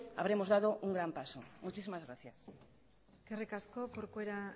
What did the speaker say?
habremos dado un gran paso muchísimas gracias eskerrik asko corcuera